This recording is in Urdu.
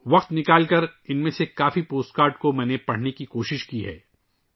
میں نے وقت نکال کر ، ان میں سے بہت سے پوسٹ کارڈز کو پڑھنے کی کوشش کی ہے